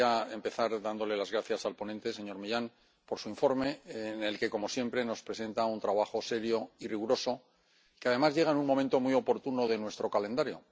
Quería empezar dándole las gracias al ponente, señor Millán, por su informe en el que, como siempre, nos presenta un trabajo serio y riguroso que, además, llega en un momento muy oportuno de nuestro calendario.